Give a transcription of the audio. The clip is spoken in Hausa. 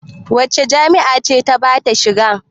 Wace jami'a ce ta ba ta shiga?